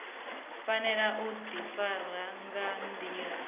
fanela u difara nga ndila